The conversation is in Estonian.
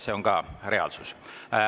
See on ka reaalsus.